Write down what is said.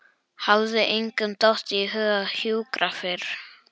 Hafði engum dottið í hug að hjúkra fyrr?